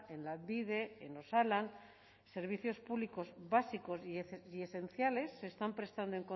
en lanbide en osalan servicios públicos básicos y esenciales se están prestando